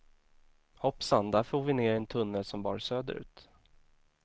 Hoppsan, där for vi ner i en tunnel som bar söderut.